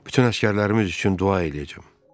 Bütün əsgərlərimiz üçün dua eləyəcəm.